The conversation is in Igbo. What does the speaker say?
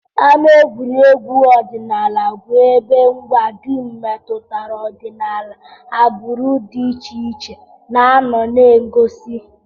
Ama egwuregwu Ọdịnala bụ ebe ngwa dum metụtara ọdịnala agbụrụ dị iche iche na-anọ na ngosi